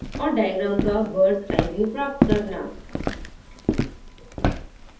और diagram का birds eye view प्राप्त करना